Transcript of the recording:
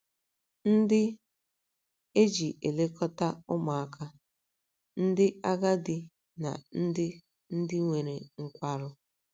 ndị e ji elekọta ụmụaka, ndị agadi na ndị ndị nwere nkwarụ